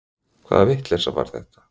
Hvaða vitleysa var þetta?